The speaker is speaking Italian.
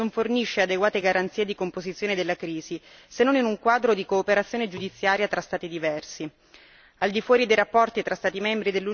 Il ricorso al giudice nazionale, purtroppo, non fornisce adeguate garanzie di composizione della crisi se non in un quadro di cooperazione giudiziaria tra Stati diversi.